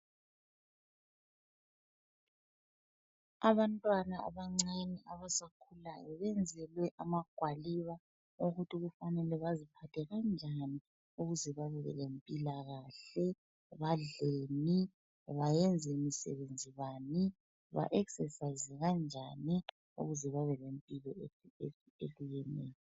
Abantwana abancane abasakhulayo benzelwe amagwaliba okuthi kufanele baziphathe kanjani ukuze babe lempilakahle, badleni bayenze msebenzi bani ba exercise kanjani ukuze babelempilo.